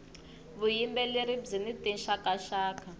vuyimbeleri byini tinxaka nxaka